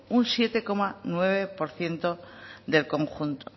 un siete coma nueve por ciento del conjunto